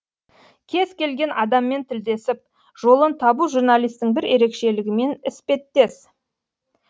кез келген адаммен тілдесіп жолын табу журналистің бір ерекшелігімен іспеттес